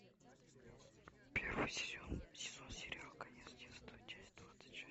первый сезон сериал конец детства часть двадцать шесть